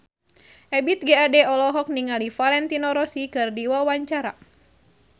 Ebith G. Ade olohok ningali Valentino Rossi keur diwawancara